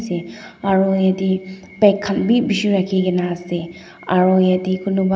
aro yate bag khan beh beshe rakhe kena ase aro yate konebah.